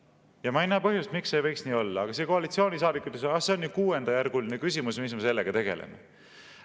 Ja ma ei näe põhjust, miks ei võiks see nii olla, aga see koalitsioonisaadik ütles, et see on kuuendajärguline küsimus, mis me sellega tegeleme.